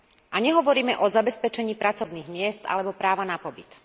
A nehovoríme o zabezpečení pracovných miest alebo práva na pobyt.